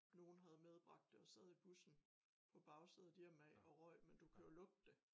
Nogen havde medbragt det og sad i bussen på bagsædet hjemad og røg men du kan jo lugte det